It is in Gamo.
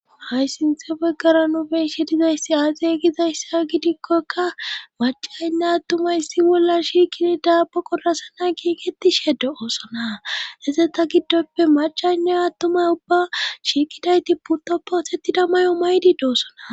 hHa sinthe beggara nu be'ishe dizayssi aazey gizayssa gidikkokka macaynne attumaysi bolla shiikidi daa baqorasana giigetishede oosona eze ta giddoppe macaynne attumay ubba shiikidayti purtoppo otettida mayo maydi doossona.